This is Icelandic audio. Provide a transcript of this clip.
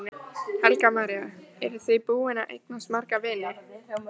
Helga María: Eru þið búin að eignast marga vini?